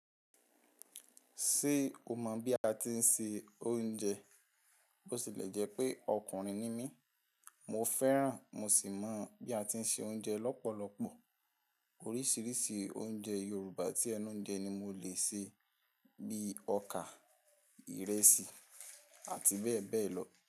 Ṣé o mọ̀ bí a ti ń se oúnjẹ? Bó si lè jẹ́ pé ọkùnrin ni mí, mo fẹ́ràn mo sì mọ̀ bí a ti ń se oúnjẹ lọ́pọ̀lọpọ̀. Oríṣiríṣi oúnjẹ Yorùbá tí ẹnu ń jẹ ni mo le ṣe, bí i ọkà, ìrẹsì, àti bẹ́ẹ̀ bẹ́ẹ̀ lọ.